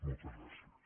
moltes gràcies